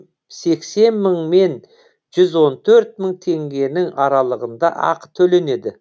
сексен мың мен жүз он төрт мың теңгенің аралығында ақы төленеді